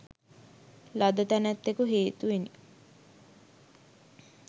ලද තැනැත්තෙකු හේතුවෙනි.